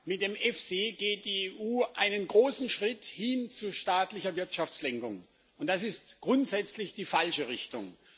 Mit dem EFSI geht die EU einen großen Schritt hin zu staatlicher Wirtschaftslenkung, und das ist grundsätzlich die falsche Richtung.